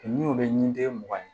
N'i y'o kɛ ni den mugan ye